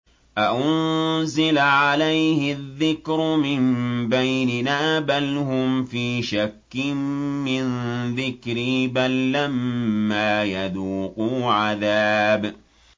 أَأُنزِلَ عَلَيْهِ الذِّكْرُ مِن بَيْنِنَا ۚ بَلْ هُمْ فِي شَكٍّ مِّن ذِكْرِي ۖ بَل لَّمَّا يَذُوقُوا عَذَابِ